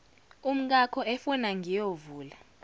umkakho efuna ngiyovula